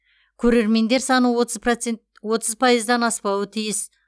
көрермендер саны отыз пайыздан аспауы тиіс